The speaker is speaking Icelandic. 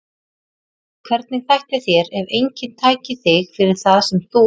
Hvernig þætti þér ef enginn tæki þig fyrir það sem þú ert?